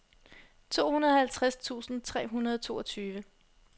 tooghalvtreds tusind tre hundrede og toogtyve